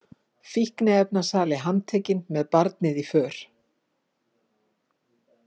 Fíkniefnasali handtekinn með barnið í för